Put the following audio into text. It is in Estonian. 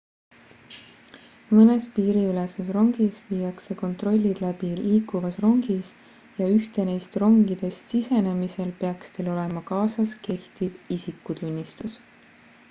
mõnes piiriüleses rongis viiakse kontrollid läbi liikuvas rongis ja ühte neist rongidest sisenemisel peaks teil olema kaasas kehtiv isikutunnistus